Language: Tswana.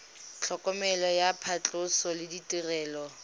tlhokomelo ya phatlhoso le ditirelo